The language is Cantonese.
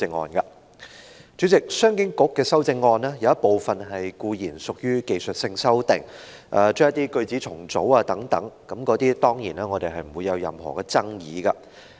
主席，商務及經濟發展局局長的修正案，有一部分固然屬於技術性修訂，將一些句子重組等，我們對此當然沒有爭議。